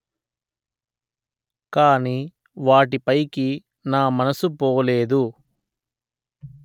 కానీ వాటిపైకి నా మనసు పోలేదు